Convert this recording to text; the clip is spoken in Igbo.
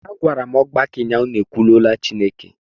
Agwara m ọgbakọ ụnyahụ, unu ekwulula Chineke!